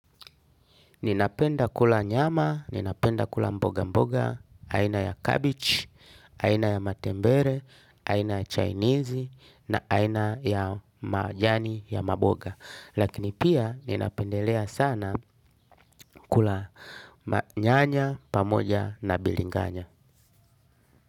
Ninapenda kula nyama, ninapenda kula mboga mboga, aina ya cabbage, aina ya matembere, aina ya chainizi, na aina ya majani ya maboga. Lakini pia ninapendelea sana kula nyanya, pamoja na bilinganya.